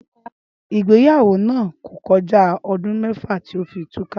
Ígbéyàwó náà kò ko̩já o̩dún mé̩fà tí ó fi túká